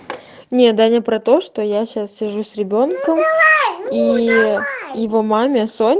нет даня про то что я сейчас сижу с ребёнком и его маме со